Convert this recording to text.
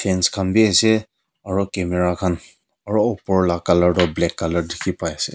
dance khan bhi ase aro camera khan aro upar lah colour tu black colour dikhi pai ase.